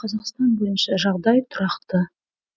қазақстан бойынша жағдай тұрақты